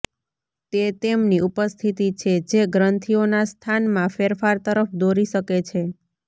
તે તેમની ઉપસ્થિતિ છે જે ગ્રંથીઓના સ્થાનમાં ફેરફાર તરફ દોરી શકે છે